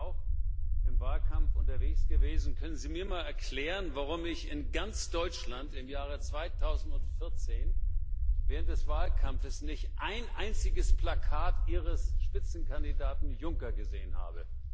Nun bin ich ja auch im Wahlkampf unterwegs gewesen Können Sie mir mal erklären, warum ich in ganz Deutschland im Jahre 2014 während des Wahlkampfes nicht ein einziges Plakat Ihres Spitzenkandidaten Juncker gesehen habe?